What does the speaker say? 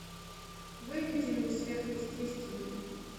выведи мне сверхъестественное